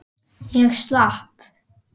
Ég slapp.